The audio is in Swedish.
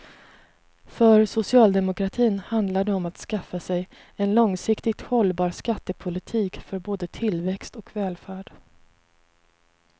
För socialdemokratin handlar det om att skaffa sig en långsiktigt hållbar skattepolitik för både tillväxt och välfärd.